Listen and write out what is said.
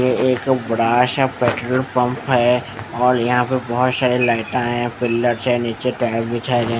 ये एक बड़ा सा पेट्रोल पम्प है और यहाँ पे बहुत सारे लाइटा है पिलर से नीचे टायर बिछाए जाएगे ।